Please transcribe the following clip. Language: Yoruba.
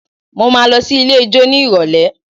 Mo máa lọ sí ilé ijó nírọ̀lẹ́